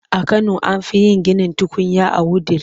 A kano an fi yin ginin tukunya a Wudil.